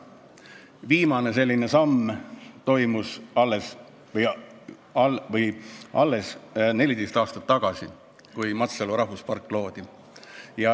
Viimane selline samm toimus tervelt 14 aastat tagasi, kui loodi Matsalu rahvuspark.